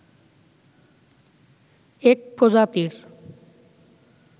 এক প্রজাতির